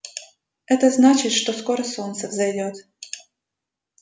это значит что скоро солнце взойдёт